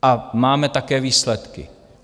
A máme také výsledky.